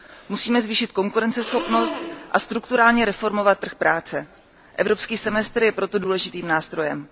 Musíme zvýšit konkurenceschopnost a strukturálně reformovat trh práce. Evropský semestr je proto důležitým nástrojem.